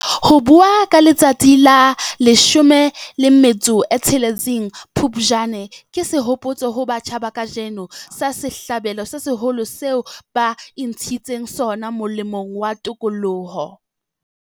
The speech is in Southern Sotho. Ho bua ka letsatsi la la 16 Phupjane ke sehopotso ho batjha ba kajeno, sa sehlabelo se seholo seo ba intshitseng sona molemong wa tokoloho.